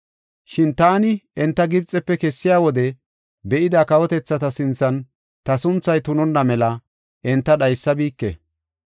Shin taani enta Gibxefe kessiya wode be7ida kawotethata sinthan ta sunthay tunonna mela enta dhaysabike.